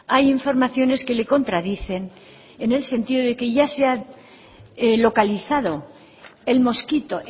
hay informaciones que le contradicen en el sentido de que ya se ha localizado el mosquito